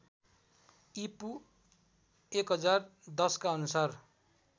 ईपू १०१० का अनुसार